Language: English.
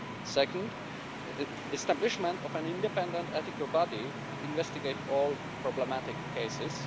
second, establishment of an independent ethical body to investigate all problematic cases